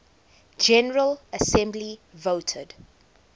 general assembly voted